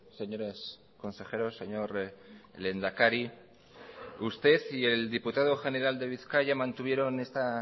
señores consejeros señor lehendakari usted y el diputado general de bizkaia mantuvieron esta